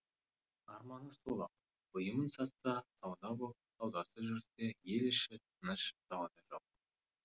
арманы сол ақ бұйымын сатса сауда боп саудасы жүрсе ел іші тыныш дау да жоқ